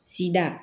Sida